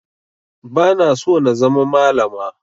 Ba na so na zama malama